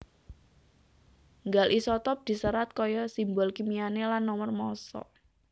Nggal isotop diserat kaya simbol kimiané lan nomor massa